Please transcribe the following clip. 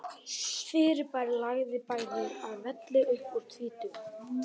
Fyrirbærið lagði bæði að velli upp úr tvítugu.